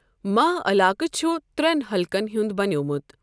ماہ علاقہٕ چھُ ترٛٮ۪ن حلقن ہُنٛد بنیومُت۔